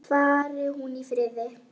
Fari hún í friði.